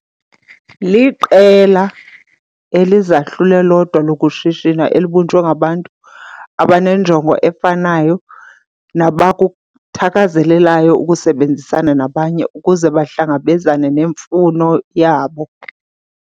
Liqela elizahlule lodwa lokushishina elibunjwe ngabantu abanenjongo efanayo nabakuthakazelelayo ukusebenzisana nabanye ukuze bahlangabezane nemfuno yabo.